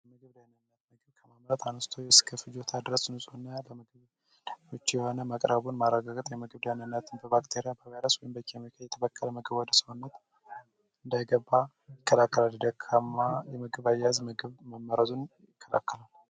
የምግብ ደህንነት ምግብ ከማምረት አነስቶ እስከ ፍጆታ ድረስ ንጹህ እና ለምግነት ምቹ የሆነ ምግብ መቅራቡን ማረጋግጥ የምግብ ደህንነትን በባክቴሪያ፣ በቫይረስ ወይም በኬሚካ የተበከለ ምግብ ወደ ሰውነት እንዳይገባ ይከላከላል። ደካማ የምግብ አያያዝ ምግብ መመረዙን ይከላከላል።